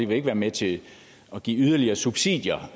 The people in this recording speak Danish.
vil være med til at give yderligere subsidier